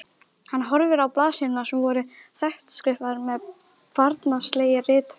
Hann horfði á blaðsíðurnar sem voru þéttskrifaðar með barnslegri rithönd.